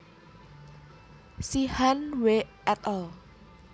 Sheehan W et al